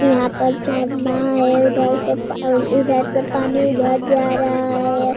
यहां पर झरना है उधर से पा इधर से पानी उधर जा रहा है।